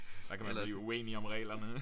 Ellers